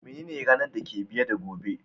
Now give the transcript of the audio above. Menene ranan da ke biye da gobe?